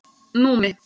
Númi